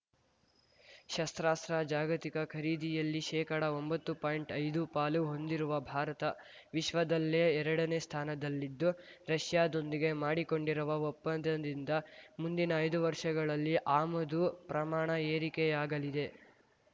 ಶಸ್ತ್ರಾಸ್ತ್ರ ಜಾಗತಿಕ ಖರೀದಿಯಲ್ಲಿ ಶೇಕಡ ಒಂಬತ್ತು ಪಾಯಿಂಟ್ಐದು ಪಾಲು ಹೊಂದಿರುವ ಭಾರತ ವಿಶ್ವದಲ್ಲೆ ಎರಡನೇ ಸ್ಥಾನದಲ್ಲಿದ್ದು ರಷ್ಯಾದೊಂದಿಗೆ ಮಾಡಿಕೊಂಡಿರುವ ಒಪ್ಪಂದದಿಂದ ಮುಂದಿನ ಐದು ವರ್ಷಗಳಲ್ಲಿ ಆಮದು ಪ್ರಮಾಣ ಏರಿಕೆಯಾಗಲಿದೆ